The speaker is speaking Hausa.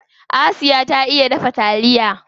Asiya ta iya dafa taliya.